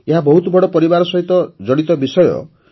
ଏହା ବହୁତ ବଡ଼ ପରିବାର ସହିତ ଜଡ଼ିତ ବିଷୟ